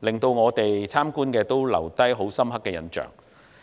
令我們留下深刻印象。